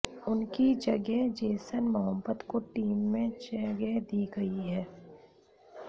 उनकी जगह Jason Mohammed को टीम में जगह दी गई है